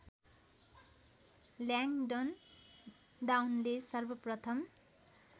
ल्याङडन डाउनले सर्वप्रथम